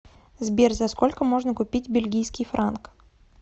сбер за сколько можно купить бельгийский франк